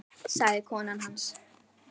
sagði kona hans.